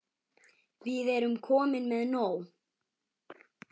Við erum komin með nóg.